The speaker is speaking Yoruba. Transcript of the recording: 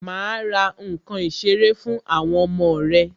Ma ra nkan ìṣeré fún àwọn ọmọ rẹ